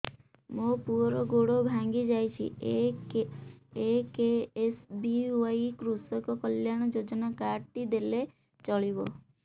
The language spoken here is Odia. ମୋ ପୁଅର ଗୋଡ଼ ଭାଙ୍ଗି ଯାଇଛି ଏ କେ.ଏସ୍.ବି.ୱାଇ କୃଷକ କଲ୍ୟାଣ ଯୋଜନା କାର୍ଡ ଟି ଦେଲେ ଚଳିବ